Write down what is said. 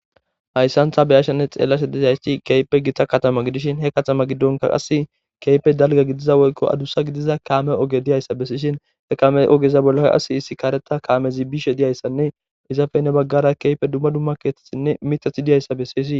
hayssantha beyashanne xeellase desaysti keype gitta katama gidishin he katama giddonka qas keype dalga gidiza woykko adussa gidiza kaame oge diyayssa bessishin he kame ogeza bollaqas hissi kaareta kaamezi bishe diyayssanne izafeynne baggara keype dumma dumma keetetsinne mitathi diyayssa bessisi